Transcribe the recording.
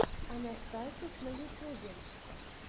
анастасиз на ютюбе